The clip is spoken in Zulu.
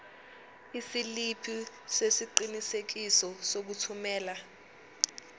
isiliphi sesiqinisekiso sokuthumela